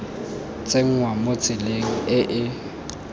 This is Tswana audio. tsenngwa mo tseleng e e